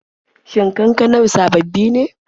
Shin kankanar sababbi ne?